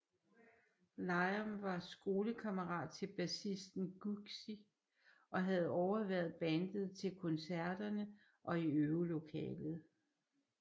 Liam var skolekammerat til bassisten Guigsy og havde overværet bandet til koncerterne og i øvelokalet